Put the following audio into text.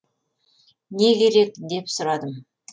не керек деп сұрадым